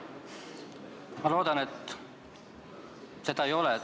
Ma loodan, et seda kavas ei ole.